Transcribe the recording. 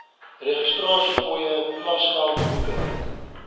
registrasiefooie klasgeld boeke